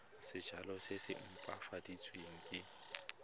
sejalo se se opafaditsweng se